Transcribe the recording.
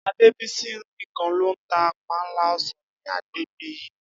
Adébísí nìkan ló ń ta panla o̩sàn ní agbègbè yìĺ